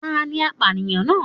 Tani apánìyàn náà